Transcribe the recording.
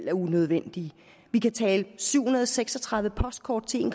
er unødvendigt vi kan tale syv hundrede og seks og tredive postkort til en